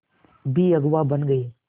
भी अगुवा बन गए